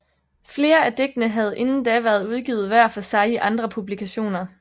Flere af digtene havde inden da været udgivet hver for sig i andre publikationer